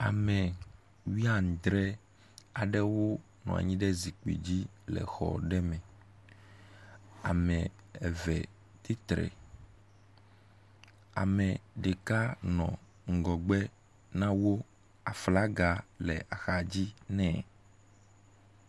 Ame wuiadre aɖewo nɔ anyi ɖe zikpui dzi le xɔ aɖe me. Ame eve tsitre, ame ɖeka nɔ ŋgɔgbe na wo. Aflaga le axadzi nɛ.